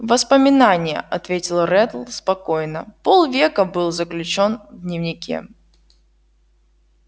воспоминание ответил реддл спокойно полвека был заключён в дневнике